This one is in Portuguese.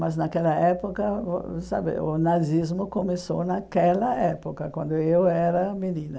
Mas, naquela época, o sabe o nazismo começou naquela época, quando eu era menina.